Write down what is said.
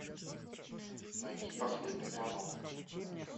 найти последний звонок